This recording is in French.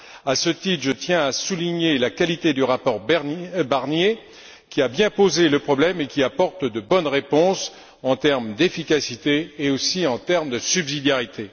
À ce titre, je tiens à souligner la qualité du rapport Barnier, qui a bien posé le problème et qui apporte de bonnes réponses en termes d'efficacité et aussi en termes de subsidiarité.